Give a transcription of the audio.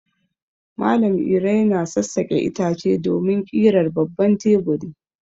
Malam Iro yana sassaƙe itace domin ƙirar babban teburi.